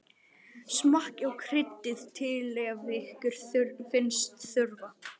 Smakkið og kryddið til ef ykkur finnst þurfa.